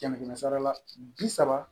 Kɛmɛ kɛmɛ sarala bi saba